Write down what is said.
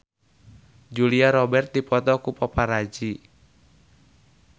Julia Robert dipoto ku paparazi